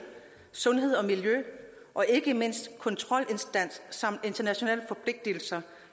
sundhed og miljø og ikke mindst kontrolinstans samt internationale forpligtelser